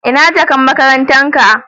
Ina jakan makarantan ka?.